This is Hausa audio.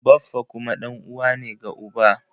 Baffa kuma ɗan'uwa ne ga uba.